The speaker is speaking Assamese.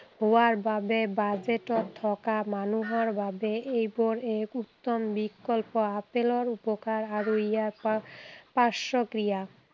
হোৱাৰ বাবে budget ত থকা মানুহৰ বাবে এইবোৰ এক উত্তম বিকল্প। আপেলৰ উপকাৰ আৰু ইয়াৰ পাৰ পাৰ্শ্বক্ৰিয়া।